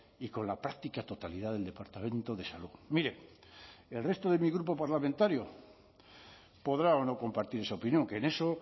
y con la práctica totalidad del departamento de salud mire el resto de mi grupo parlamentario podrá o no compartir esa opinión que en eso